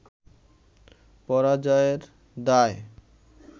পরাজয়ের দায়